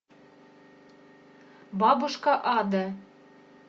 бабушка ада